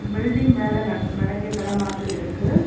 Building வேலை நடக் நடக்க கட மாதிரி இருக்கு.